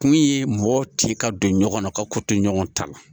Kun ye mɔgɔ ci ka don ɲɔgɔn na ka ko to ɲɔgɔn ta la